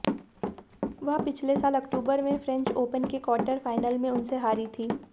वह पिछले साल अक्तूबर में फ्रेंच ओपन के क्वार्टर फाइनल में उनसे हारी थी